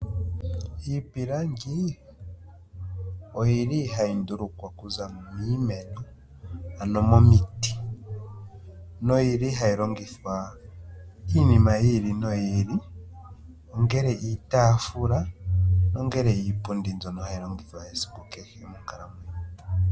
Iipilangi oyi li hayi ndulukwa okuza miimeno ano momiti noyi li hayi longithwa iinima yi ili noyi ili ngele iitafula nongele iipundi mbyono hayi longithwa esiku kehe monkalamwenyo.